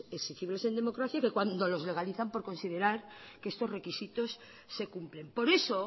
exigibles en democracia que cuando los legalizan por considerar que estos requisitos se cumplen por eso